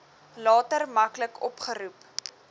later maklik opgeroep